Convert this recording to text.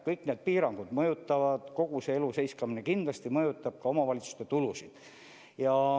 Kõik need piirangud ja kogu see elu seiskamine kindlasti mõjutab ka omavalitsuste tulusid.